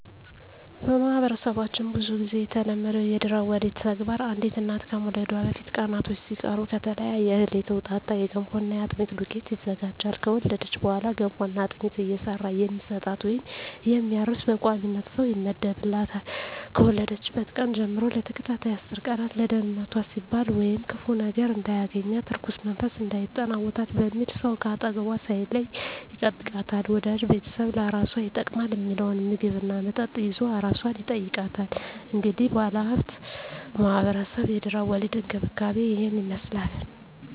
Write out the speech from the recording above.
በማህበረሰባችን ብዙ ግዜ የተለመደው የድህረ ወሊድ ተግባር አንዲት እናት ከመውለዷ በፊት ቀናቶች ሲቀሩ ከተለያየ እህል የተውጣጣ የገንፎና የአጥሚት ዱቄት ይዘጋጃል። ከወለደች በኋላ ገንፎና አጥሚት እየሰራ የሚሰጣት ወይም የሚያርስ በቋሚነት ሰው ይመደብላታል፣ ከወለደችበት ቀን ጀም ለተከታታይ አስር ቀን ለደንነቷ ሲባል ወይም ክፉ ነገር እንዳያገኛት(እርኩስ መንፈስ እንዳይጠናወታት) በሚል ሰው ከአጠገቧ ሳይለይ ይጠብቃታል፣ ወዳጅ ቤተሰብ ለአራሷ ይጠቅማል ሚለውን ምግብ እና መጠጥ ይዞ አራሷን ይጠይቃል። እንግዲህ ባለሁበት ማህበረሰብ የድህረ ወሊድ እንክብካቤ እሂን ይመስላል።